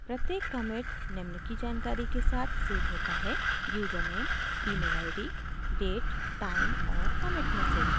प्रत्येक commit निम्न की जानकारी के साथ सेव होता है username emailid date time और commit message